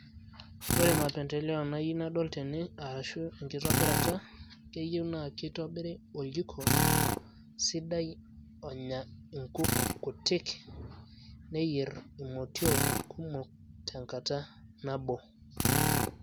Ore mapendeleo nayieu nadol tene, arashu enkitobirata, keyieu na kitobiri oljiko sidai onya inkuk kutik, neyier imotiok kumok tenkata nabo.